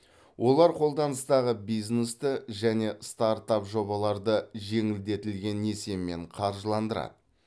олар қолданыстағы бизнесті және стартап жобаларды жеңілдетілген несиемен қаржыландырады